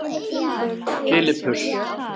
Filippus